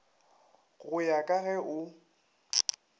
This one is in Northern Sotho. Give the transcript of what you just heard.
go ya ka ge o